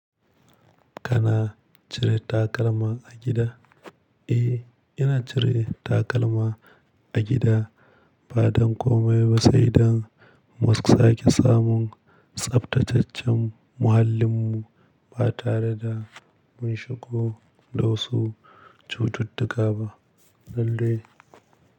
Kana cire takalma a gida? Eh, ina cire takalma a gida ba don komai ba sai dan mu sake samun tsaftataccen muhallin mu ba tare da mun shigo da wasu cututtuka ba. Lallai.